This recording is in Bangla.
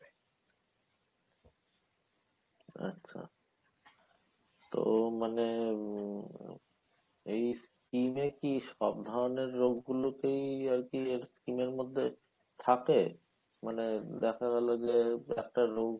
আচ্ছা। তো মানে উম এই scheme এ কি সব ধরণের রোগগুলো কী আর কী scheme এর মধ্যে থাকে মানে দেখা গেলো যে একটা রোগ